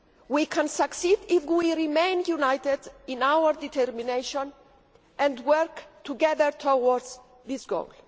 We can succeed if we remain united in our determination and work together towards this goal.